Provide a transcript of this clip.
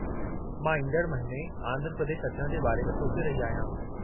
मां ईंदड़ महीने आंध्र प्रदेश अचण जे बारे में सोचे रही आहियां।